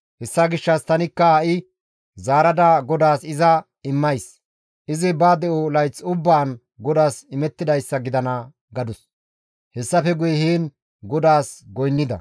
Hessa gishshas tanikka ha7i zaarada GODAAS iza immays; izi ba de7o layth ubbaan GODAAS imettidayssa gidana» gadus; hessafe guye heen GODAAS goynnida.